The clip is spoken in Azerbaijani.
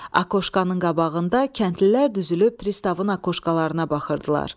Akoşkanın qabağında kəndlilər düzülüb pristavın akoşkalarına baxırdılar.